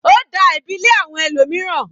Ó da ẹ̀bi lé àwọn ẹlòmíràn.